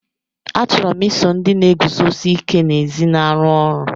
Achọrọ m iso ndị na-eguzosi ike n'ezi na-arụ ọrụ.